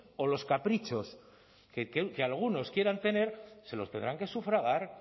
o los caprichos que algunos quieran tener se los tendrán que sufragar